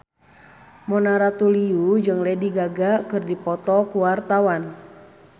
Mona Ratuliu jeung Lady Gaga keur dipoto ku wartawan